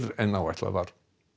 en áætlað var